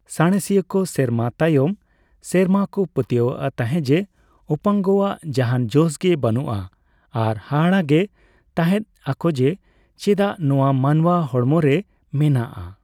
ᱥᱟᱬᱮᱥᱤᱭᱟᱹ ᱠᱚ ᱥᱮᱨᱢᱟ ᱛᱟᱭᱚᱢ ᱥᱮᱨᱢᱟ ᱠᱚ ᱯᱟᱹᱛᱭᱟᱹᱣᱚᱜ ᱛᱟᱦᱮᱸᱫ ᱡᱮ ᱩᱯᱟᱝᱜᱚᱣᱟᱜ ᱡᱟᱦᱟᱸᱱ ᱡᱚᱥ ᱜᱮ ᱵᱟᱹᱱᱩᱜᱼᱟ, ᱟᱨ ᱦᱟᱦᱟᱲᱟᱜ ᱜᱮ ᱛᱟᱦᱮᱸᱫ ᱟᱠᱚ ᱡᱮ ᱪᱮᱫᱟᱜ ᱱᱚᱣᱟ ᱢᱟᱱᱣᱟ ᱦᱚᱲᱢᱚ ᱨᱮ ᱢᱮᱱᱟᱜᱼᱟ ᱾